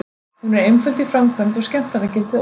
Hún er einföld í framkvæmd og skemmtanagildið ótvírætt.